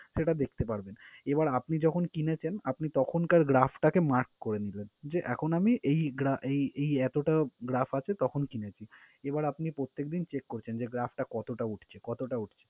সেটা দেখতে পারবেন। এবার আপনি যখন কিনেছেন আপনি তখনকার last টাকে mark করে নিলেন যে, এখন আমি এই এই এই এতোটা graph আছে তখন কিনেছি। এবার আপনি প্রত্যেকদিন check করছেন যে, graph টা কতোটা উঠছে কতোটা উঠছে।